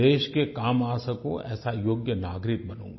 देश के काम आ सकूँ ऐसा योग्य नागरिक बनूँगा